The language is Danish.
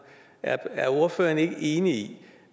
er ordføreren ikke enig